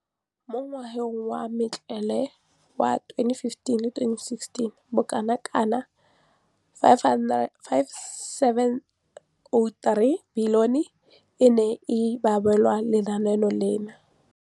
Mo ngwageng wa matlole wa 2015,16, bokanaka R5 703 bilione e ne ya abelwa lenaane leno.